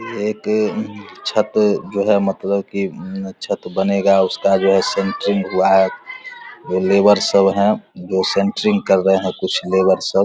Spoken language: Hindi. ये एक छत जो है मतलब की छत बनेगा उसका जो है सेंट्रिंग हुआ है जो लेबर सब है वो सेंट्रिंग कर रहे है कुछ लेबर सब --